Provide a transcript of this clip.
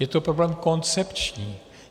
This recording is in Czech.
Je to problém koncepční.